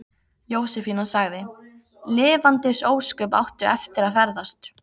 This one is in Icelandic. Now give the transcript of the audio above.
Jósefína sagði: Lifandis ósköp áttu eftir að ferðast.